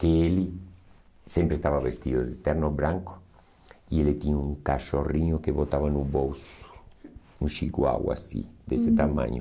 que ele sempre estava vestido de terno branco e ele tinha um cachorrinho que botava no bolso, um chihuahua assim, uhum, desse tamanho.